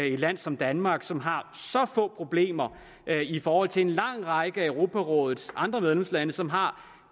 i et land som danmark som har så få problemer i forhold til en lang række af europarådets andre medlemslande som har